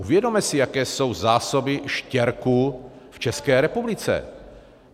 Uvědomme si, jaké jsou zásoby štěrku v České republice.